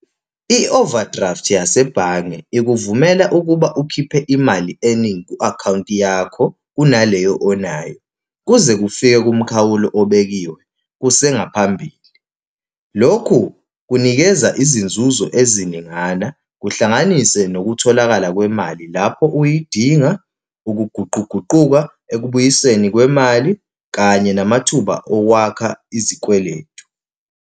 I-overdraft yasebhange ikuvumela ukuba ukhiphe imali eningi ku-akhawunti yakho, kunaleyo onayo, kuze kufike kumkhawulo obekiwe kusengaphambili. Lokhu kunikeza izinzuzo eziningana, kuhlanganise nokutholakala kwemali lapho uyidinga, ukuguquguquka ekubuyisweni kwemali kanye namathuba owakha izikweletu.